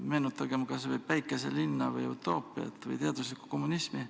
Meenutagem kas või "Päikeselinna", "Utoopiat" või teaduslikku kommunismi.